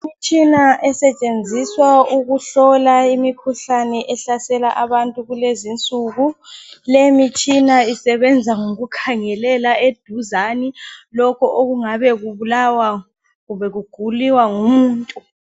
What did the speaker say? Imitshina esetshenziswa ukuhlola imikhuhlane ehlasela abantu kulenzi insuku leyi mitshina isebenza ngokukhangelela eduzane lokhu ongabe kubulawa kumbe kuguliwa ngumuntu.